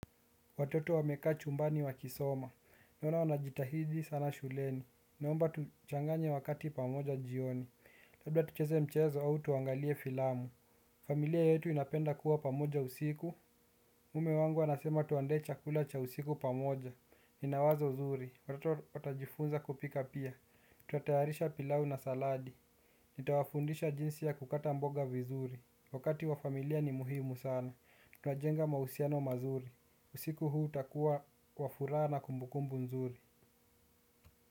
Watoto wameka chumbani wa kisoma. Naona wanajitahidi sana shuleni. Naomba tuchanganye wakati pamoja jioni. Labda tucheze mchezo au tuangalie filamu. Familia yetu inapenda kuwa pamoja usiku. Mume wangu anasema tuandae chakula cha usiku pamoja. Ninawazo zuri. Watoto watajifunza kupika pia. Tuta tayarisha pilau na saladi. Nitawafundisha jinsi ya kukata mboga vizuri. Wakati wa familia ni muhimu sana. Tunajenga mahusiano mazuri. Usiku huu utakua wa furaha na kumbukumbu nzuri.